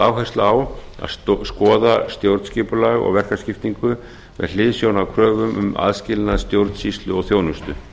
áhersla að að skoða stjórnskipulag og verkaskiptingu með hliðsjón af kröfum um aðskilnað stjórnsýslu og þjónustu